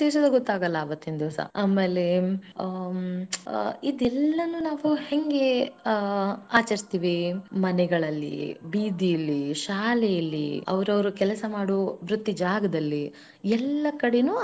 ಪರಿಚಯಸ ಗೊತ್ತಾಗಲ್ಲಾ ಅವತ್ತಿನ ದಿವಸ ಆಮೇಲೆ ಅಮ್ ಇದೆಲ್ಲನು ನಾವ ಹೆಂಗೆ ಆಚರಿಸುತ್ತೇವಿ ಮನೆಗಳಲ್ಲಿ ಬೀದಿಲಿ ಶಾಲೆಯಲ್ಲಿ ಅವರು ಅವರು ಕೆಲಸ ಮಾಡುವ ವೃತ್ತಿ ಜಾಗದಲ್ಲಿ ಎಲ್ಲ.